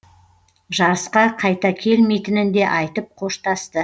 жарысқа қайта келмейтінін де айтып қоштасты